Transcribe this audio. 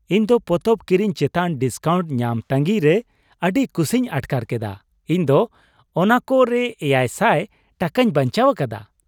ᱤᱧ ᱫᱚ ᱯᱚᱛᱚᱵ ᱠᱤᱨᱤᱧ ᱪᱮᱛᱟᱱ ᱰᱤᱥᱠᱟᱣᱩᱱᱴ ᱧᱟᱢ ᱛᱟᱹᱜᱤᱭ ᱨᱮ ᱟᱹᱰᱤ ᱠᱩᱥᱤᱧ ᱟᱴᱠᱟᱨ ᱠᱮᱫᱟ ᱾ ᱤᱧ ᱫᱚ ᱚᱱᱟᱠᱚ ᱨᱮ ᱮᱭᱟᱭ ᱥᱟᱭ ᱴᱟᱠᱟᱧ ᱵᱟᱧᱪᱟᱣ ᱟᱠᱟᱫᱟ !